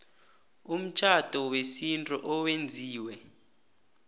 umtjhado wesintu owenziwe